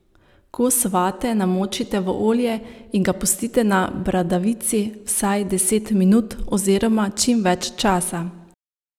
Kos vate namočite v olje in ga pustite na bradavici vsaj deset minut oziroma čim več časa.